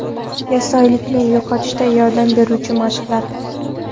Yassioyoqlikni yo‘qotishda yordam beruvchi mashqlar .